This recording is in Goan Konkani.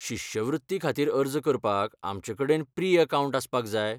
शिश्यवृत्ती खातीर अर्ज करपाक आमचे कडेन प्री अकाउंट आसपाक जाय?